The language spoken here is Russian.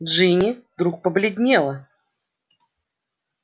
джинни вдруг побледнела